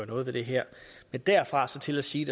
noget ved det her men derfra og så til at sige